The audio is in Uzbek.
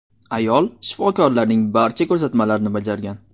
Ayol shifokorlarning barcha ko‘rsatmalarini bajargan.